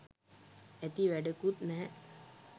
ඇති වැඩකුත් නැහැ